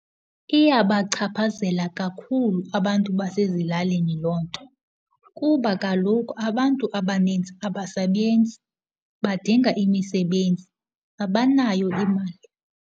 Iyabachaphazela kakhulu abantu basezilalini loo nto kuba kaloku abantu abaninzi abasebenzi, badinga imisebenzi, abanayo imali.